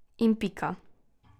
In pika.